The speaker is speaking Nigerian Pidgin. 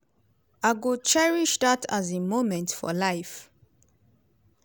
"i go cherish dat um moment for life."